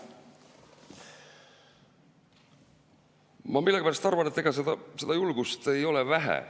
Ma millegipärast arvan, et ega seda julgust ei ole vähe.